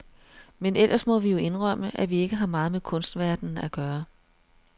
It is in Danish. Men ellers må vi jo indrømme, at vi ikke har meget med kunstverdenen at gøre.